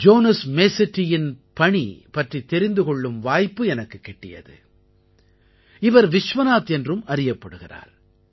Jones மேசெட்டியின் பணி பற்றித் தெரிந்து கொள்ளும் வாய்ப்பு எனக்குக் கிட்டியது இவர் விஷ்வநாத் என்றும் அறியப்படுகிறார்